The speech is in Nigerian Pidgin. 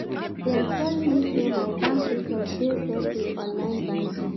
Dem tell me sey my bank details dey safe wit online banking.